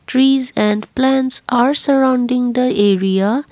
trees and plants are surrounding the area.